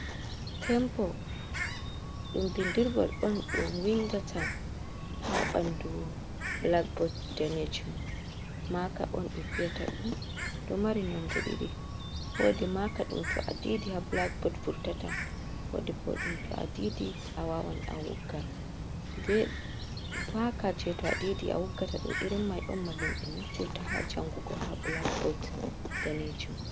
Tempo ɗum bindirgol on ɗum windata haa ɓandu blakbod daneejum, maaka on ɓe wiyata ɗum. Ɗo mari nonde ɗiɗi. Woodi maaka ɗum to a diidii haa blakbod wurtata. Woodi bo ɗum to a diidii, a waawan a wogga. Maaka jee to a diidii a woggata ɗo irin mai on mallum en naftirta haa jangugo haa blakbod daneejum.